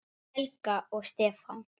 Helga og Stefán.